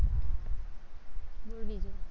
બોલ બીજું